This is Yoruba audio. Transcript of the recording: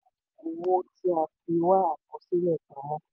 owó tí a fi wá àkọsílẹ̀ pamọ́.